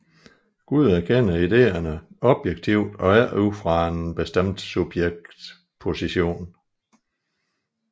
Gud erkender ideerne objektivt og ikke ud fra en bestemt subjektsposition